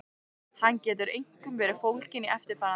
Hann getur einkum verið fólginn í eftirfarandi